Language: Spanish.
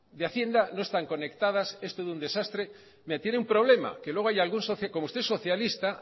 de hacienda no están conectadas es todo un desastre mire tiene un problema que luego hay algún socio que como usted es socialista